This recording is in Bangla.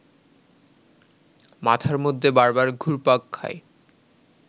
মাথার মধ্যে বারবার ঘুরপাক খায়